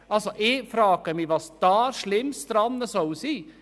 Ich frage mich, was daran schlimm sein soll.